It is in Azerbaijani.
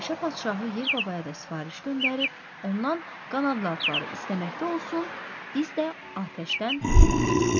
Meşə padşahı Yel babaya da sifariş göndərib, ondan qanadlı atları istəməkdə olsun, biz də atəşdən xəbər tutaq.